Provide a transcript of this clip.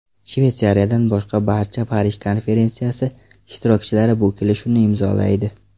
Shveysariyadan boshqa barcha Parij konferensiyasi ishtirokchilari bu kelishuvni imzolaydi.